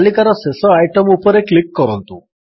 ତାଲିକାର ଶେଷ ଆଇଟମ୍ ଉପରେ କ୍ଲିକ୍ କରନ୍ତୁ